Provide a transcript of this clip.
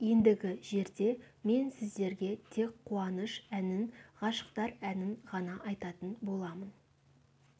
ендігі жерде мен сіздерге тек қуаныш әнін ғашықтар әнін ғана айтатын боламын